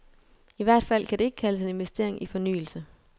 I hvert fald kan det ikke kaldes en investering i fornyelse.